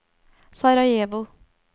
Sarajevo